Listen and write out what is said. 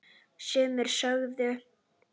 Sumir sögðu